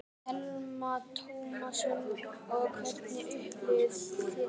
Telma Tómasson: Og hvernig upplifðuð þið þetta?